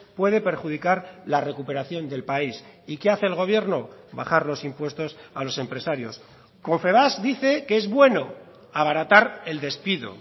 puede perjudicar la recuperación del país y qué hace el gobierno bajar los impuestos a los empresarios confebask dice que es bueno abaratar el despido